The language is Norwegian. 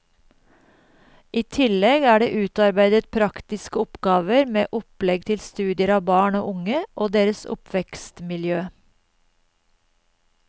I tillegg er det utarbeidet praktiske oppgaver med opplegg til studier av barn og unge og deres oppvekstmiljø.